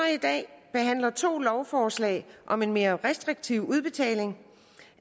i dag behandler to lovforslag om en mere restriktiv udbetaling